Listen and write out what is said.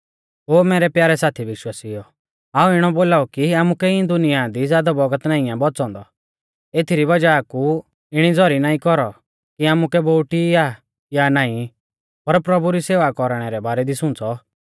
ओ मैरै प्यारै साथी विश्वासिउओ हाऊं इणौ बोलाऊ कि आमुकै इऐं दुनिया दी ज़ादौ बौगत नाईं आ बौच़ौ औन्दौ एथरी वज़ाह कु इणी ज़ौरी ना कौरौ कि आमुकै बोउटी आ या नाईं पर प्रभु री सेवा कौरणै रै बारै दी सुंच़ौ